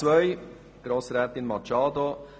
Zu Artikel 10 Absatz 2, Antrag Machado: